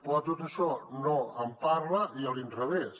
però de tot això no en parla a l’inrevés